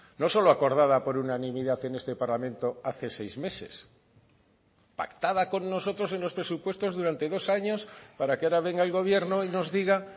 no solo acordada por unanimidad en este parlamento hace seis meses pactada con nosotros en los presupuestos durante dos años para que ahora venga el gobierno y nos diga